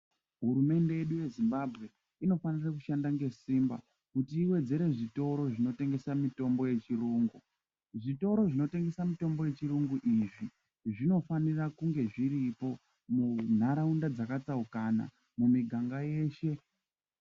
Hurumende yedu yeZimbabwe inofanira kushanda ngesimba kuti iwedzere zvitoro zvinotengesa mitombo yechirungu. Zvitoro zvinotengesa mitombo yechirungu izvi zvinofanira kunge zviripo munharaunda dzakatsaukana, mumiganga yeshe.